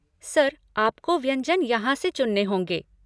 Sir आपको व्यंजन यहाँ से चुनना होंगे।